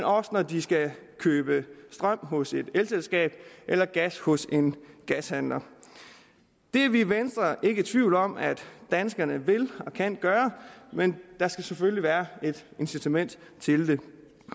også når de skal købe strøm hos et elselskab eller gas hos en gashandler det er vi i venstre ikke i tvivl om at danskerne vil og kan gøre men der skal selvfølgelig være et incitament til det